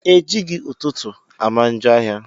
Ejighi ụtụtụ ama njọ áhiá.